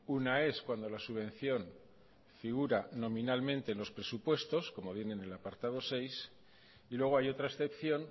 una es cuando la subvención figura nominalmente en los presupuestos como vienen en el apartado seis y luego hay otra excepción